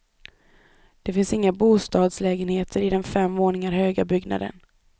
Det finns inga bostadslägenheter i den fem våningar höga byggnaden.